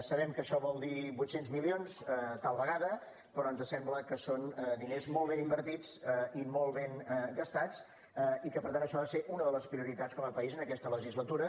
sabem que això vol dir vuit cents milions tal vegada però ens sembla que són diners molt ben invertits i molt ben gastats i que per tant això ha de ser una de les prioritats com a país en aquesta legislatura